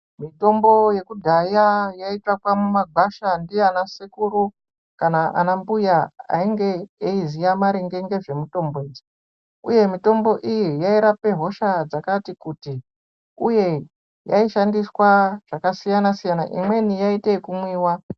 Mitombo yekudhaya yaitakwa mumagwasha ndiana sekuru kana anambuya ainge eiziya maringe ngezvemitombo idzi, uye mitombo iyi yairapa hosha dzakati kuti, uye yaishandiswa zvakasiyana-siyana imweni yaiite yekumwiwa.